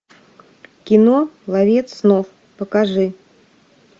кино ловец снов покажи